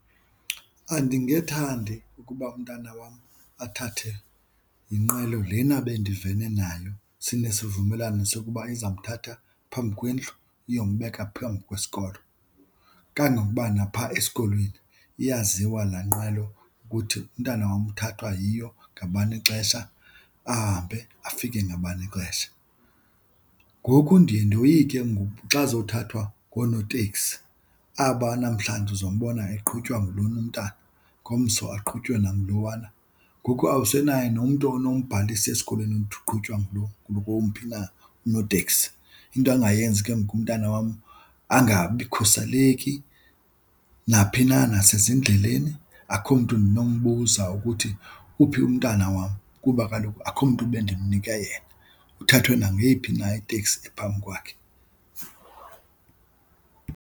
Andingethandi ukuba umntana wam athathe yinqwelo lena bendivene nayo sinesivumelwano sokuba izamthatha phambi kwendlu iyombeka phambi kwesikolo, kangokuba napha esikolweni iyaziwa laa nqwelo ukuthi umntana wam uthathwa yiyo ngabani ixesha ahambe afike ngabani ixesha. Ngoku ndiye ndoyike ngoku xa azothathwa ngoonoteksi aba namhlanje uzombona eqhutywa ngulona umntana ngomso aqhutywe nagulowana. Ngoku awusenaye nomntu onombhalisa esikolweni ukuthi uqhutywa ngomphi na unoteksi, into angayenzi ke ngoku umntana wam angabikhuseleki naphi na nasezindleleni. Akho mntu ndinombuza ukuthi uphi umntana wam kuba kaloku akho mntu bendimnike yena, uthathwe nangeyiphi na iteksi ephambi kwakhe.